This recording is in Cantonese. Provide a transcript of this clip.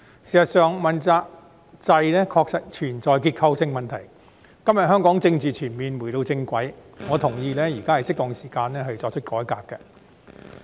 事實上，問責制確實存在結構性問題，今天香港的政治全面回到正軌，我同意現在是適當時間作出改革。